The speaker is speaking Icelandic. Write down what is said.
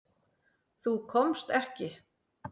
Þú komst ekki.